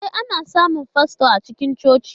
E, ana samun fasto a cikin coci.